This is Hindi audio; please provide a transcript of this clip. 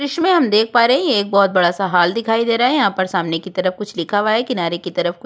दृश्य में हम देख पा रहे हैं यह एक बहुत बड़ा सा हॉल दिखाई दे रहा है यहाँ पर सामने की तरफ कुछ लिखा हुआ है किनारे की तरफ कुछ--